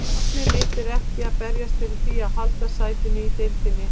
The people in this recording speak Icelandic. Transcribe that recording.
Markmið mitt er ekki að berjast fyrir því að halda sætinu í deildinni.